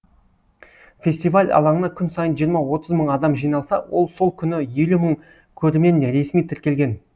фестиваль алаңына күн сайын жиырма отыз мың адам жиналса сол күні елу мың көрермен ресми тіркелген